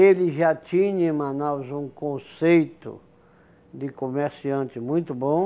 Ele já tinha em Manaus um conceito de comerciante muito bom.